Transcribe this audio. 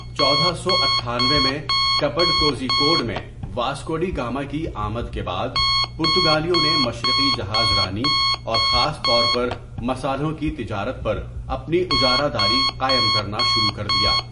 چودہ سو اٹھانوے میں کپڈ کوژی کوڈ میں واسکو ڈی گاما کی آمد کے بعد، پرتگالیوں نے مشرقی جہاز رانی اور خاص طور پر مصالحوں کی تجارت پر اپنی اجارہ داری قائم کرنا شروع کردیا۔